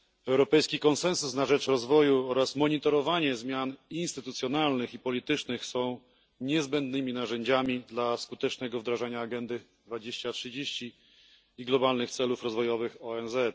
Europejski Konsensus na rzecz Rozwoju oraz monitorowanie zmian instytucjonalnych i politycznych są niezbędnymi narzędziami skutecznego wdrożenia Agendy 2030 i globalnych celów rozwojowych ONZ.